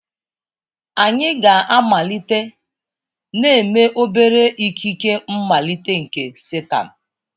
Anyị ga-amalite na-eme obere ikike mmalite nke satan.